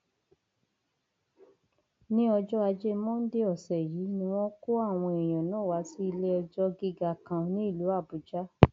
ní ọjọ ajé monde ọsẹ yìí ni wọn kó àwọn èèyàn náà wá sí iléẹjọ gíga kan nílùú àbújá